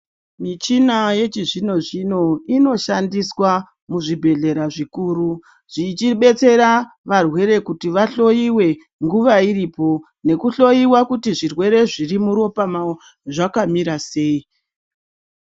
Michina yechizvino-zvino inoshandiswa muzvibhedhlera zvikuru, zvichibetsera varwere kuti vahloiwe nguva iripo, nekuhloiwa kuti zvirwere zviri muropa mavo, zvakamira sei.